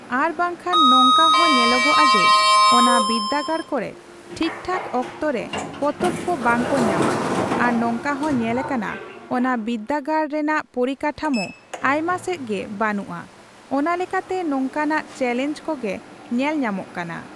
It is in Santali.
ᱟᱨ ᱵᱟᱝᱠᱷᱟᱱ ᱱᱚᱝᱠᱟ ᱦᱚᱸ ᱧᱮᱞᱚᱜᱼᱟ ᱡᱮ, ᱚᱱᱟ ᱵᱤᱫᱽᱫᱟᱹᱜᱟᱲ ᱠᱚᱨᱮ ᱴᱷᱤᱠᱼᱴᱷᱟᱠ ᱚᱠᱛᱚ ᱨᱮ ᱯᱚᱛᱚᱵ ᱠᱚ ᱵᱚᱝᱠᱚ ᱧᱟᱢᱟ᱾ ᱟᱨ ᱱᱚᱝᱠᱟ ᱦᱚᱸ ᱧᱮᱞᱟᱠᱟᱱᱟ ᱚᱱᱟ ᱵᱤᱫᱽᱫᱟᱹᱜᱟᱲ ᱨᱮᱱᱟᱜ ᱯᱚᱨᱤᱠᱟᱴᱷᱟᱢᱳ ᱟᱭᱢᱟ ᱥᱮᱡ ᱜᱮ ᱵᱟ.ᱱᱩᱜᱼᱟ᱾ ᱚᱱᱟᱞᱮᱠᱟᱛᱮ ᱱᱚᱝᱠᱟᱱᱟᱜ ᱪᱮᱞᱮᱧᱡᱽ ᱠᱚᱜᱮ ᱧᱮᱞᱼᱧᱟᱢᱚᱜ ᱠᱟᱱᱟ᱾